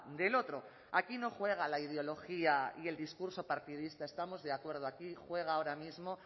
del otro aquí no juega la ideología ni el discurso partidista estamos de acuerdo aquí juega ahora mismo